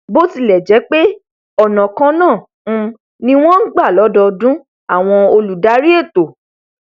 bó tilẹ jẹ pé ọnà kan náà um ni wọn n gbà lọdọọdún àwọn olùdarí ètò